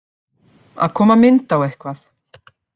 Að koma mynd á eitthvað